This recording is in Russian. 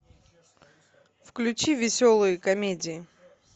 включи веселые комедии